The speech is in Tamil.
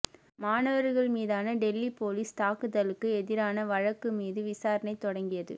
மாணவர்கள் மீதான டெல்லி போலீஸ் தாக்குதலுக்கு எதிரான வழக்கு மீது விசாரணை தொடங்கியது